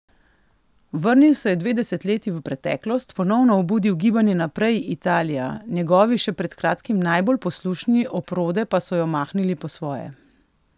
Vrnil se je dve desetletji v preteklost, ponovno obudil gibanje Naprej, Italija, njegovi še pred kratkim najbolj poslušni oprode pa so jo mahnili po svoje.